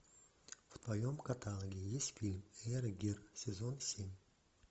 в твоем каталоге есть фильм эйр гир сезон семь